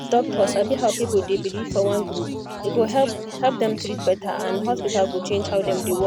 if doctor sabi how people dey believe for one group e go help help dem treat better and hospital go change how dem dey work